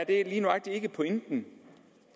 ikke lige nøjagtig pointen